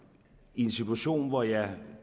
i en situation hvor jeg